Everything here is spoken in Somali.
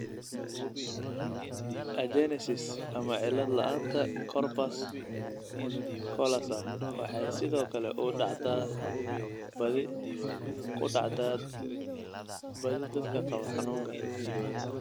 Agenesis ama cillad la'aanta corpus callosum waxay sidoo kale ku dhacdaa badi dadka qaba xanuunkaan.